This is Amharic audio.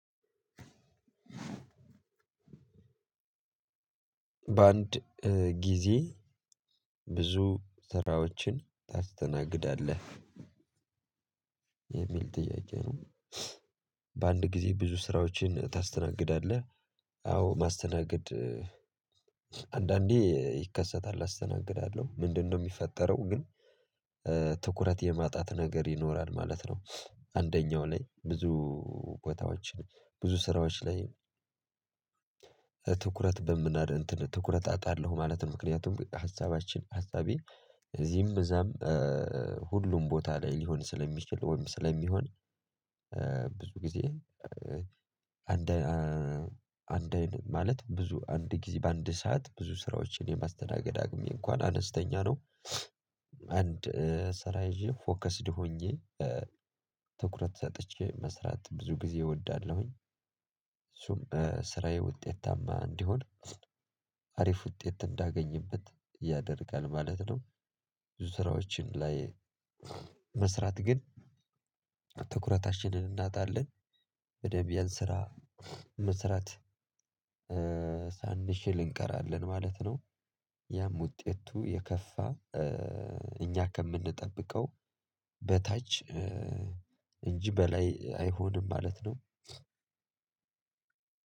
በአንድ ጊዜ ብዙ ስራዎችን ታስተናግዳለህ የሚል ጥያቄ ነው? በአንድ ጊዜ ብዙ ስራዎችን ታስተናግዳለህ? አዎ ማስተናገድ አንዳንዴ ይከሰታል አስተናግዳለሁ ምንድነው የሚፈጠረው ግን ትኩረት የማጣት ነገር ይኖራል ማለት ነው። አንደኛው ላይ ብዙ ቦታዎችን ብዙ ስራዎች ላይ ትኩረት በምናድ እንትን ትኩረት አጣለሁ ማለት ነው። ምክንያቱም ሀሳባችን ሀሳቤ እዚህም እዛም ሁሉም ቦታ ላይ ሊሆን ስለሚችል ወይም ስለሚሆን ብዙ ጊዜ አንድ ማለት ብዙ በአንድ ሰዓት ብዙ ስራዎችን የማስተናገድ አቅሜ እንኳ አነስተኛ ነው። አንድ ስራ ይዤ ፎከስድ ሆኜ ትኩረት ሰጥቼ መስራት ብዙ ጊዜ እወዳለሁኝ። እሱም ስራዬ ውጤታማ እንዲሆን አሪፍ ውጤት እንዳገኝበት ያደርጋል ማለት ነው። ብዙ ስራዎችን ላይ መስራት ግን ትኩረታችንን እናጣለን በደንብ ያን ስራ መስራት ሳንችል እንቀራለን ማለት ነው። ያም ውጤቱ የከፋ እኛ ከምንጠብቀው በታች እንጂ በላይ አይሆንም ማለት ነው።